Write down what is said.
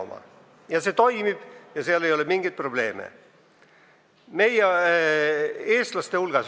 See seadus toimib ja seal ei ole mingeid probleeme.